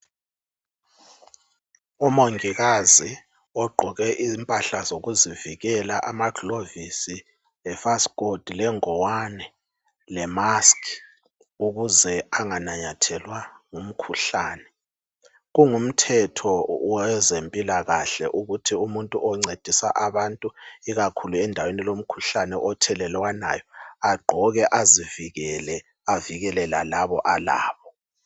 umongikazi ogqoke impahla zokuzivikela amaglovisise lefasifothi legwane lemasikhi ukuze anganamathelwa ngumkhuhlane kungumthetho owezempilakahle ukuthi umuntu oncedisa abantu ikakhulu endeweni elomkhuhlane othelelwanayo agqoke azivikele avikele lalaba alabo